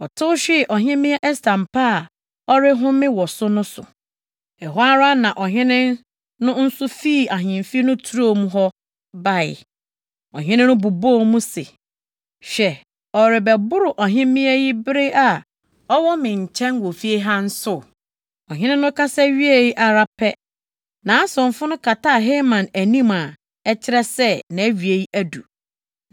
Ɔtew hwee Ɔhemmea Ɛster mpa a ɔrehome wɔ so no so. Ɛhɔ ara na ɔhene no nso fii ahemfi no turo mu hɔ bae. Ɔhene no bobɔɔ mu se, “Hwɛ ɔrebɛboro ɔhemmea yi bere a ɔwɔ me nkyɛn wɔ fie ha nso?” Ɔhene no kasa wiee ara pɛ, nʼasomfo no kataa Haman anim a ɛkyerɛ sɛ, nʼawie adu. + 7.8 Sɛ wɔkata obi ti so a na ɛkyerɛ sɛ wɔabu no kumfɔ.